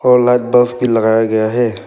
और light bulb भी लगाया गया है।